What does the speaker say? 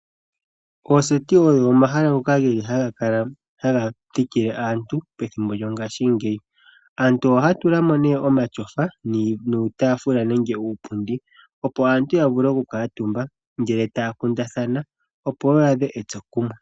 Ooseti oyo omahala ngoka haga thikile aantu pethimbo lyongaashingeyi. Aantu ohaya tula mo nee omatyofa , nuutaafula nenge nuupundi opo aantu ya vule okukuutumba ngele taya kundathana opo yaadhe etsokumwe.